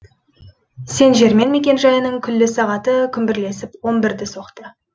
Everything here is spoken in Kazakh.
сен жермен мекенжайының күллі сағаты күмбірлесіп он бірді соқты